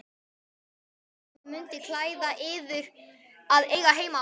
Það mundi klæða yður að eiga heima á